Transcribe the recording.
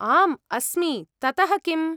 आम् अस्मि, ततः किम्?